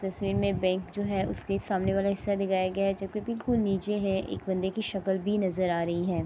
تشویر مے بینک جو ہے۔ اسکے سامنے والا حصّہ دکھایا گیا ہے جو کی بلکل نیچے ہے۔ ایک بندے کی شکل بھی نظر آ رہی ہے۔